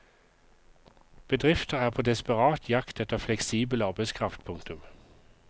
Bedrifter er på desperat jakt etter fleksibel arbeidskraft. punktum